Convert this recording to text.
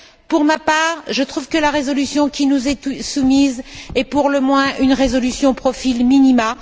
Pour ma part, je trouve que la résolution qui nous est soumise est, pour le moins, une résolution au profil minimum.